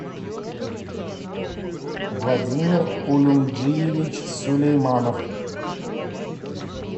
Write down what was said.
владимир улюмджиевич сулейманов